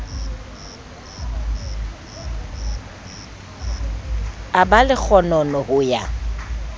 a ba lekgonono ho ya